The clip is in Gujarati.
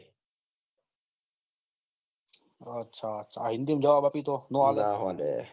આચ્છા આચ્છા હિન્દી માં જવાબ આપીએ તો